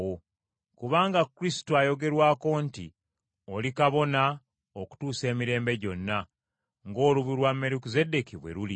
Kubanga Kristo ayogerwako nti, “Oli kabona okutuusa emirembe gyonna ng’olubu lwa Merukizeddeeki bwe luli.”